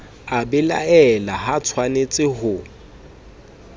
a belaela ha atshwanetse ho